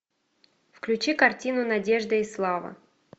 включи картину надежда и слава